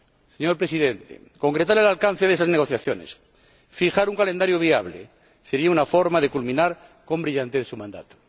Señor Presidente, concretar el alcance de esas negociaciones y fijar un calendario viable serían una forma de culminar con brillantez su mandato.